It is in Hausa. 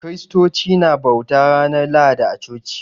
Kiristoci na bauta ranar Lahadi a coci